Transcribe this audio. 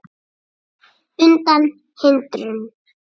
undan hindrun